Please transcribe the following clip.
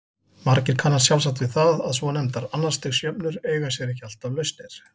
Margir kannast sjálfsagt við það að svonefndar annars stigs jöfnur eiga sér ekki alltaf lausnir.